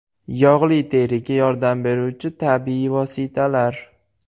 Yog‘li teriga yordam beruvchi tabiiy vositalar.